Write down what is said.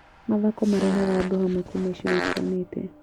Mathako marehaga andũ hamwe kuuma icigo itiganĩte.